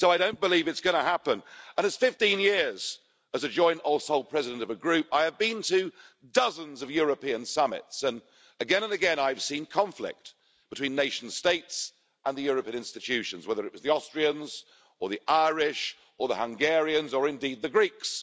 So I don't believe it's going to happen, and in 15 years as a joint or sole president of a group, I have been to dozens of European summits and again and again I've seen conflict between nation states and the European institutions, whether it was the Austrians, or the Irish, or the Hungarians, or indeed the Greeks.